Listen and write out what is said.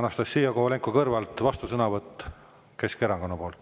Anastassia Kovalenko-Kõlvart, vastusõnavõtt Keskerakonna nimel.